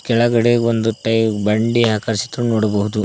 ಕೆಳಗಡೆ ಒಂದು ತೈ ಬಂಡೆ ಆಕರ್ಷಿತು ನೋಡ್ಬೋದು.